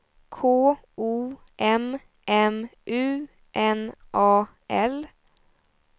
K O M M U N A L